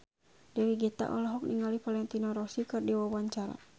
Dewi Gita olohok ningali Valentino Rossi keur diwawancara